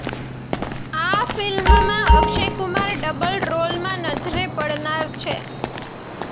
આ ફિલ્મમાં અક્ષય કુમાર ડબલ રોલમાં નજરે પડનાર છે